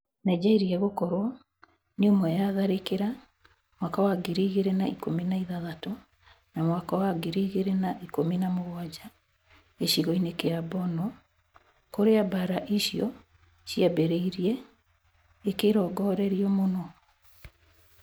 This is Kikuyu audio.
Nigeria gũkorwo nĩ ũmwe ya tharĩkĩra mwaka wa ngiri igĩrĩ na ikũmi na ithathatu na mwaka wa ngiri igĩrĩ na ikũmi na mũgwanja gĩcigo-inĩ kia Borno - kũria mbara icio cĩambĩrĩirie - gĩkĩrongorerio mũno.